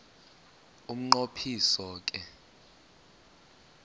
umnqo phiso ke